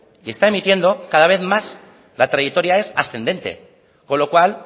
y está emitiendo cada vez más la trayectoria es ascendente con lo cual